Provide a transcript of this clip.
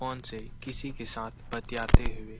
phone से किसी के साथ बतयाते हुए--